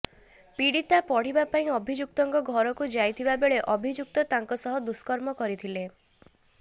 ପୀଡ଼ିତା ପଢ଼ିବା ପାଇଁ ଅଭିଯୁକ୍ତଙ୍କ ଘରକୁ ଯାଇଥିବା ବେଳେ ଅଭିଯୁକ୍ତ ତାଙ୍କ ସହ ଦୁଷ୍କର୍ମ କରିଥିଲେ